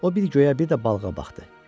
O bir göyə, bir də balığa baxdı.